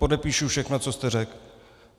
Podepíšu všechno, co jste řekl.